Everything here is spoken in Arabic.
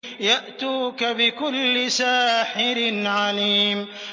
يَأْتُوكَ بِكُلِّ سَاحِرٍ عَلِيمٍ